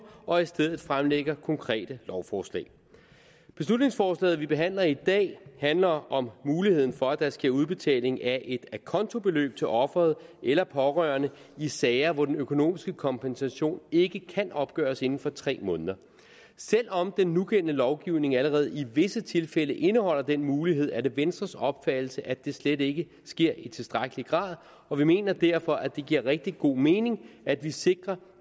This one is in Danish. og i stedet fremsætter konkrete lovforslag beslutningsforslaget vi behandler i dag handler om muligheden for at der skal ske udbetaling af et acontobeløb til offeret eller pårørende i sager hvor den økonomiske kompensation ikke kan opgøres inden for tre måneder selv om den nugældende lovgivning allerede i visse tilfælde indeholder den mulighed er det venstres opfattelse at det slet ikke sker i tilstrækkelig grad og vi mener derfor det giver rigtig god mening at det sikres